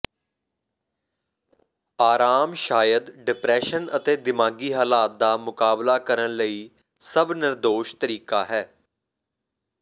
ਆਰਾਮ ਸ਼ਾਇਦ ਡਿਪਰੈਸ਼ਨ ਅਤੇ ਦਿਮਾਗੀ ਹਾਲਾਤ ਦਾ ਮੁਕਾਬਲਾ ਕਰਨ ਲਈ ਸਭ ਨਿਰਦੋਸ਼ ਤਰੀਕਾ ਹੈ